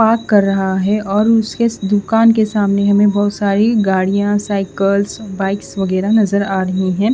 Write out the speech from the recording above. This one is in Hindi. पार्क कर रहा है और उसके दूकान के सामने हमें बोहोत सारी गाड़िया साइकल्स बाइक्स वगेहरा नज़र आ रही है।